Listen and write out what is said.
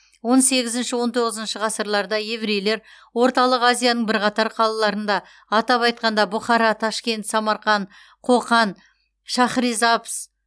он сегізінші он тоғызыншы ғасырларда еврейлер орталық азияның бірқатар қалаларында атап айтқанда бұхара ташкент самарқан қоқан шахризабз